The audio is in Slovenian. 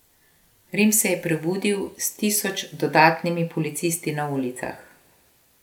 Rim se je prebudil s tisoč dodatnimi policisti na ulicah.